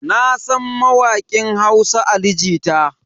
Nasan mawakin Hausa Ali Jita.